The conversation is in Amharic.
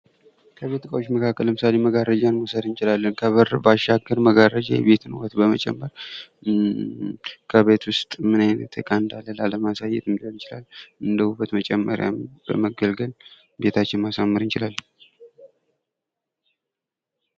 ከቤት እቃዎች መካከል ለምሳሌ መጋረጃን መውሰድ እንችላለን ፤ ውበትን በመጨመር ከቤት ውስጥ ምን አይነት እቃ እንዳለ ባለማሳየት ሊያገለግል ይችላል። እንደ ውበት መጨመርያም በመገልገል ቤታችንን ማሳመር እንችላለን።